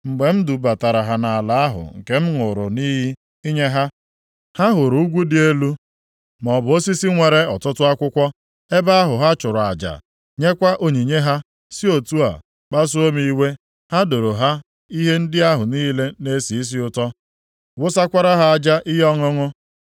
Mgbe m dubatara ha nʼala ahụ nke m ṅụrụ nʼiyi inye ha, ha hụrụ ugwu dị elu maọbụ osisi nwere ọtụtụ akwụkwọ, ebe ahụ ha chụrụ aja ha, nyekwa onyinye ha, si otu a kpasuo m iwe. Ha doro ha ihe ndị ahụ niile na-esi isi ụtọ, wụsakwara ha aja ihe ọṅụṅụ